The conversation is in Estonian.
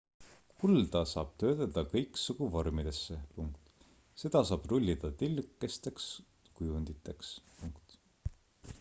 kulda saab töödelda kõiksugu vormidesse seda saab rullida tillukesteks kujunditeks